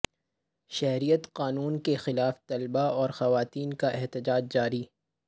شہریت قانون کے خلاف طلبہ اور خواتین کا احتجاج جاری